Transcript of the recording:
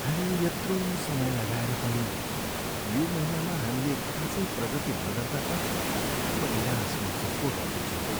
हामीले यत्रो समय लगाएर पनि यो महिनामा हामीले खासै प्रगति नगर्दा त म निराश महसुस पो गर्दैछु हौ।